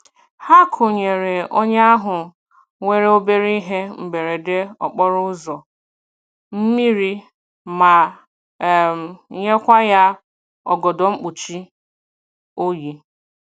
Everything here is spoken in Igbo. Ha kunyere onye ahụ nwere obere ihe mberede okporo ụzọ, mmiri ma um nyekwa ya ọgọdọ mkpuchi oyi.